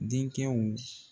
Denkɛw.